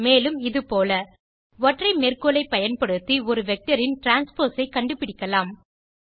மேலும் இது போல ஒற்றை மேற்கோளை பயன்படுத்தி ஒரு வெக்டர் ன் டிரான்ஸ்போஸ் ஐ கண்டு பிடிக்கலாம்